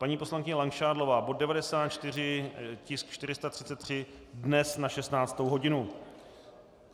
Paní poslankyně Langšádlová - bod 94, tisk 433, dnes na 16. hodinu.